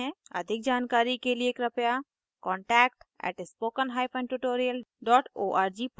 अधिक जानकारी के लिए कृपया contact @spokentutorial org पर लिखें